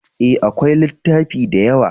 E, akwai littafi da yawa.